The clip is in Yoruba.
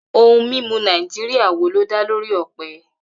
Ohun mímu Nàìjíríà wo ló dá lórí ọ̀pẹ?